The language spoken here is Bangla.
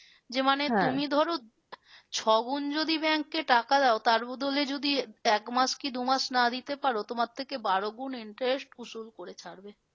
যে মানে ধরো ছগুন যদি bank এ টাকা দাও তার বদলে যদি এক মাস কি দু মাস না দিতে পারো তোমার থেকে বারোগুণ interest উসুল করে ছাড়বে।